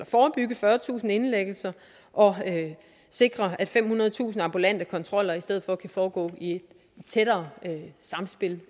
forebygge fyrretusind indlæggelser og sikre at femhundredetusind ambulante kontroller i stedet for kan foregå i et tættere samspil